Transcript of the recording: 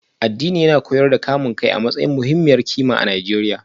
Addini yana koyar da kamun kai a matsayin muhimmiyar kima a Najeriya